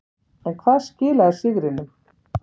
En hvað skilaði sigrinum.